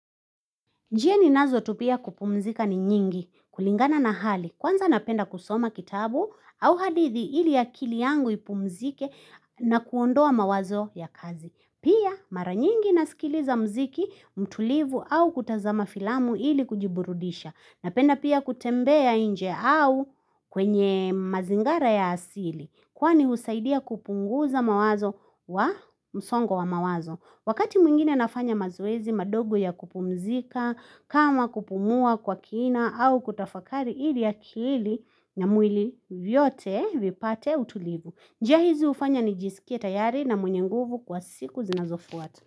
Njia ni nazo tu pia kupumzika ni nyingi. Kulingana na hali. Kwanza napenda kusoma kitabu au hadithi ili akili yangu ipumzike na kuondoa mawazo ya kazi. Pia maranyingi nasikiliza mziki, mtulivu au kutazama filamu ili kujiburudisha. Napenda pia kutembea nje au kwenye mazingara ya asili. Kwani husaidia kupunguza mawazo wa msongo wa mawazo. Wakati mwingine nafanya mazoezi madogo ya kupumzika, kama kupumua kwa kina au kutafakari ili akili na mwili vyote vipate utulivu. Njia hizi ufanya ni jisikie tayari na mwenye nguvu kwa siku zinazofuata.